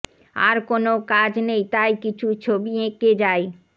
আর কোনও কাজ নেই তাই কিছু ছবি এঁকে যাই